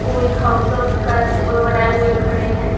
कोई thumbs up का symbol बनाए हुए खड़े हैं।